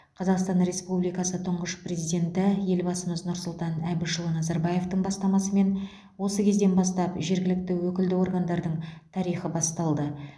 қазақстан республикасы тұңғыш президенті елбасымыз нұрсұлтан әбішұлы назарбаевтың бастамасымен осы кезден бастап жергілікті өкілді органдардың тарихы басталды